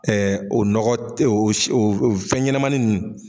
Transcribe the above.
o nɔgɔ tɛ o o fɛn ɲɛnɛmani nunnu.